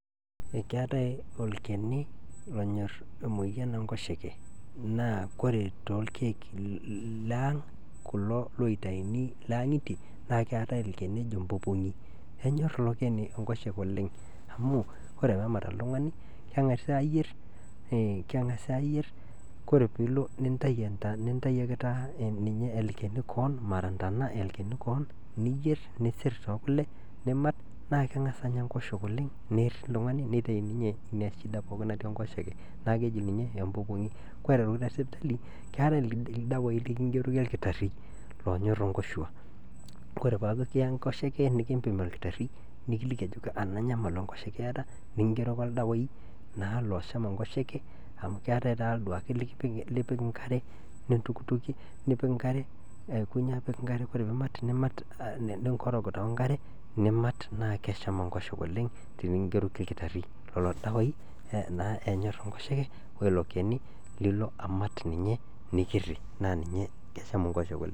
Keatai olcheni onyorr moyian enkosheke naa kore too lkeek laang kulo oitaini le angitie keatai lcheni oji lpopong'ienyorr ilochani inkosheke oleng amuu koree peemat oltungani nengasi aayierr kore pilo taata nintai ake olcheni keon mara intana niiyierr nisir too kule niimat naa kengas anya inkosheke oleng neeiri ltungani neitai ninye shida pooki natii inkosheke naa keji ninye olpopong'i, koree aitoki sipitali keatai irdawaii likingeroki irkitari oonyorr inkoshuaa, kore pesku kiya inkosheke nikiimpin ilkitari nikiliki aajoki ana inyamali enkosheke ieta nikingeroki irdawaii naa oosham inkosheke amu keatai taata duake lipik inkare nintokitokie nipik inkare aikonyi apik inkafre koree piimat niinkoroga tee inkare niimat naa kesham inkosheke oleng tenikingeroki lkitari lelo dawaii naa enyorr inkosheke oilo cheni lilo aamat naa ninye nikiiri naa ninye esham inkosheke oleng.